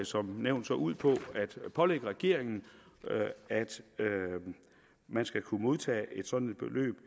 som nævnt ud på at pålægge regeringen at man skal kunne modtage et sådant beløb